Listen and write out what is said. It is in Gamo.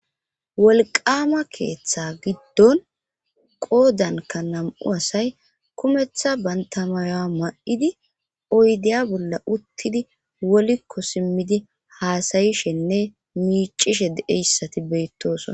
wolqama keeththa giddon qoodanka nam'u asay kumeththa bantamayoa ma'idi oydeya bolla uttidi wolikko simmidi haasayishenne miicishe deeyssati beyttosona.